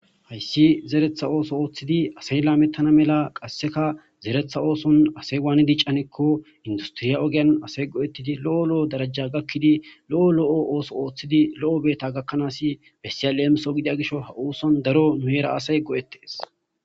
Haysi zeretha ootho othidi asay lametana mala qaseka zeretha oothon asay wani lametane giikon induteriya asay go'etidi lo'o lo'o dereja asay gakidi lo'o lo'o boota gakanasi bessiya lemiso gidiya gishaw ha oothon daro hera asay go'ettes.